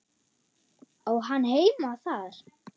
Á hann heima þar?